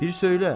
Bir söylə.